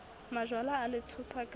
majwala a le tshosa ka